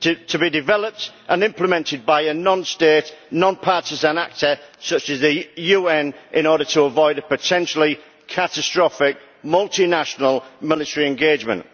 to be developed and implemented by a non state, non partisan actor such as the UN in order to avoid a potentially catastrophic, multinational, military engagement.